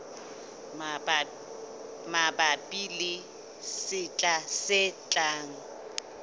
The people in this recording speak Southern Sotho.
mabapi le sehla se tlang